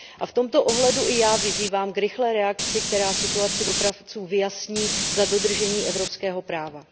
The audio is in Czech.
V tomto ohledu i já vyzývám k rychlé reakci, která situaci dopravců vyjasní za dodržení evropského práva.